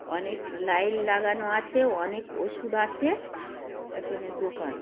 অনেক লাইন লাগানো আছে। অনেক ওষুধ আছে। এখানে দোকান --